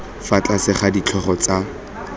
fa tlase ga ditlhogo tsa